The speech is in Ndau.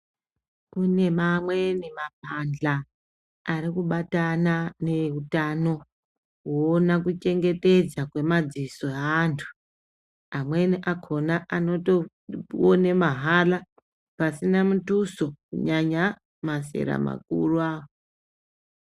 Kune mamweni maphandla arikubatana nevehutano kuwona kuchengetedza kwemadziso eantu amweni akona anotowone mahala pasina mutuso, nyanya mazera makuru awa.